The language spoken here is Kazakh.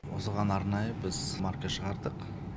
осыған арнайы біз марка шығардық